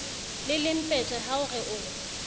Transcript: le lempetje ha ore o